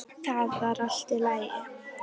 Það var allt í lagi.